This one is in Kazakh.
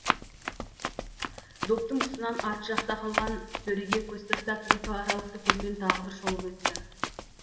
доптың тұсынан арт жақта қалған сөреге көз тастап екі аралықты көзбен тағы бір шолып өтті